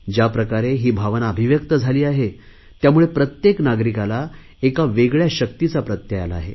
ज्याप्रकारे ही भावना अभिव्यक्त झाली आहे त्यामुळे प्रत्येक नागरिकाला एका वेगळया शक्तीचा प्रत्यय आला आहे